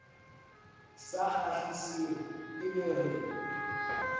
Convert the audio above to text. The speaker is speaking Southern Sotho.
sa kgahliseng e be re